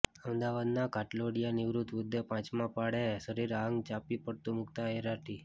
અમદાવાદના ઘાટલોડિયામાં નિવૃત વૃધ્ધે પાંચમા માળે શરીરે આગ ચાંપી પડતું મુકતા અરેરાટી